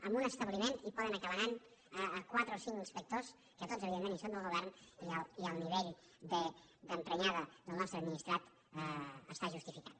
a un establiment hi poden acabar anant quatre o cinc inspectors que tots evidentment són del govern i el nivell d’emprenyada del nostre administrat està justificat